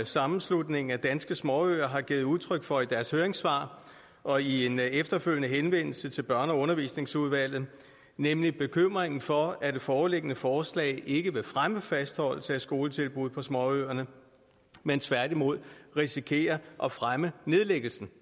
sammenslutningen af danske småøer har givet udtryk for i deres høringssvar og i en efterfølgende henvendelse til børne og undervisningsudvalget nemlig bekymringen for at det foreliggende forslag ikke vil fremme fastholdelse af skoletilbud på småøerne men tværtimod risikerer at fremme nedlæggelse